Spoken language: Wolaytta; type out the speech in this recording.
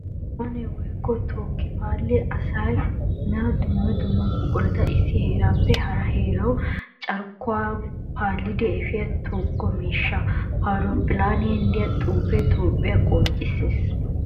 Horophphile woykko tokki paali asaane dumma dumma buqura issi heerappe hara heerawu carkkuwara paalliddi efiya toga miishsha. Ha horophphiliya de'iya xuufe toophphiya qoncciseessi.